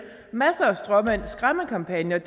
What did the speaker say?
masser af stråmænd og skræmmekampagner